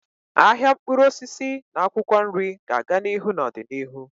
Ahịa mkpụrụ osisi na akwụkwọ nri ga-aga n'ihu n'ọdịnihu.